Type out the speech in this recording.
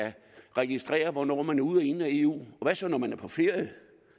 registrere hvornår man er ude og inde af eu og hvad så når man er på ferie